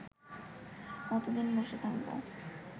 কতদিন বসে থাকব